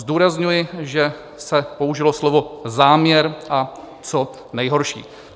Zdůrazňuji, že se použilo slovo záměr a co nejhorší.